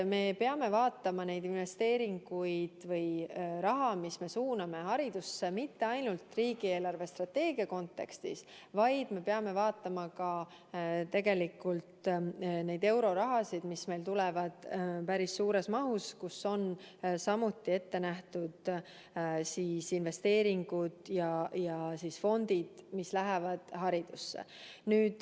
Me peame vaatama neid investeeringuid või raha, mida me suuname haridusse, mitte ainult riigi eelarvestrateegia kontekstis, vaid me peame vaatama ka tegelikult neid eurorahasid, mis meil tulevad päris suures mahus ja millest on samuti ette nähtud investeeringute ja fondide raha, mis läheb haridusse.